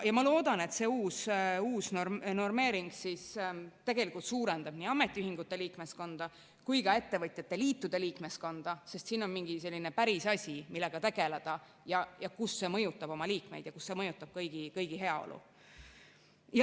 Ma loodan, et see uus normeering tegelikult suurendab nii ametiühingute liikmeskonda kui ka ettevõtjate liitude liikmeskonda, sest siin on selline päris asi, millega tegeleda, mis mõjutab nende liikmeid ja kõigi heaolu.